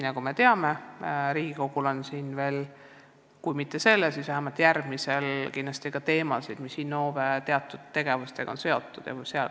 Nagu me teame, Riigikogul on arutada veel teemasid, mis on seotud Innove tegevusega.